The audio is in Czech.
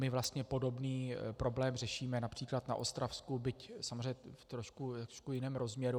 My vlastně podobný problém řešíme například na Ostravsku, byť samozřejmě v trošku jiném rozměru.